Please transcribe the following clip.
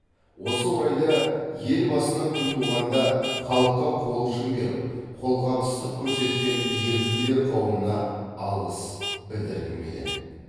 осы орайда ел басына күн туғанда халыққа қол ұшын беріп қолғабыстық көрсеткен еріктілер қауымына алғыс білдіргім келеді